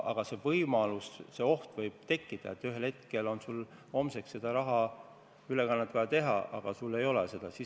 Aga võib tekkida oht, et ühel hetkel on sul vaja homseks rahaülekanne teha ja sul ei ole seda raha.